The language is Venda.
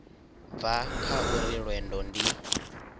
bva kha uri lwendo ndi